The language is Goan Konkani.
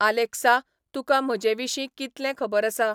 आलेख्सा तुका म्हजे विशीं कितलें खबर आसा ?